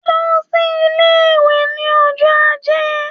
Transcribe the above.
Lọ sí ilé-ìwé ní ọjọ́ ajé!